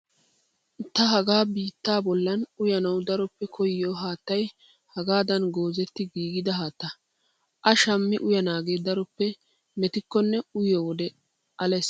Ta hagaa bittaa bollan uyanawu daroppe koyyiyoo haattayi hagaadan goozetti giigidaa haattaa. A shammi uyanaage daroppe metikkonne uyiyoo wode ales.